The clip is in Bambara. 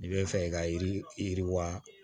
I bɛ fɛ i ka yiri yiri yiriwa